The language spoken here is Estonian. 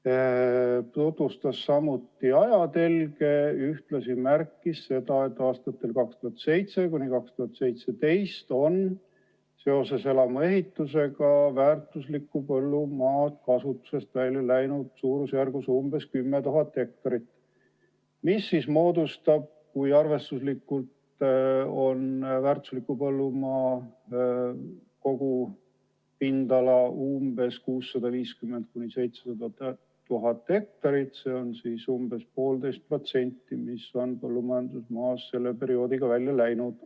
Temagi tutvustas asjaomast ajatelge ja märkis, et aastatel 2007–2017 on seoses elamuehitusega väärtuslikku põllumaad kasutusest välja läinud umbes 10 000 ha, mis moodustab, kui arvestuslikult on väärtusliku põllumaa kogupindala 650 000 – 700 000 ha, umbes 1,5% põllumajandusmaast.